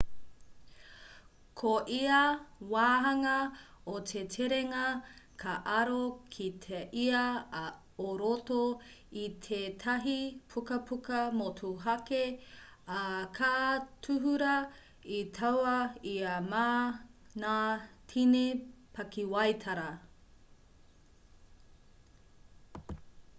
ko ia wāhanga o te terenga ka aro ki te ia o roto i tētahi pukapuka motuhake ā ka tuhura i taua ia mā ngā tini pakiwaitara